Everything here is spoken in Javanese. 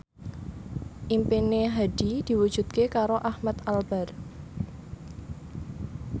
impine Hadi diwujudke karo Ahmad Albar